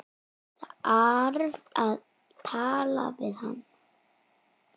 Þarf að tala við hana.